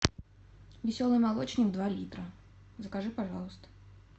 веселый молочник два литра закажи пожалуйста